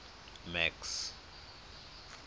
max